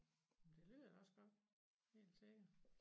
Jamen det lyder da også godt helt sikkert